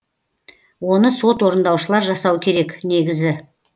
оны сот орындаушылар жасау керек негізі